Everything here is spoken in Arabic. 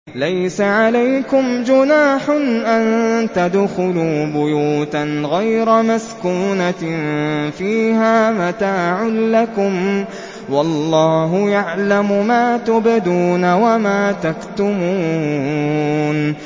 لَّيْسَ عَلَيْكُمْ جُنَاحٌ أَن تَدْخُلُوا بُيُوتًا غَيْرَ مَسْكُونَةٍ فِيهَا مَتَاعٌ لَّكُمْ ۚ وَاللَّهُ يَعْلَمُ مَا تُبْدُونَ وَمَا تَكْتُمُونَ